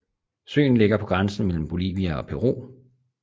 Søen ligger på grænsen mellem Bolivia og Peru